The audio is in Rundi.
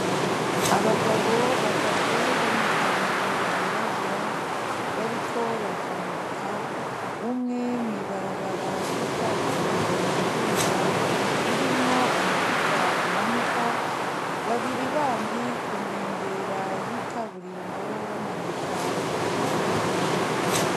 Abagabo batatu bama pantalo yirabura, bariko batambuka. Umwe mw'ibarabara ry'ikaburimbo aduga, ririmwo umuduga umanuka. Babiri bandi kunkengera y'ikaburimbo bamanuka munsi y'ibiti.